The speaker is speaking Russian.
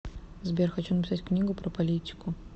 сбер хочу написать книгу про политику